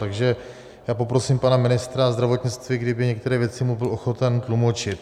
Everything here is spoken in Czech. Takže já poprosím pana ministra zdravotnictví, kdyby některé věci mu byl ochoten tlumočit.